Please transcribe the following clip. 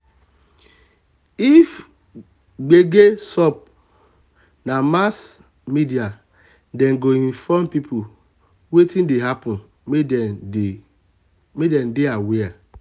if gbege sup na mass na mass media dey inform people wetin dey happen make dem dey aware.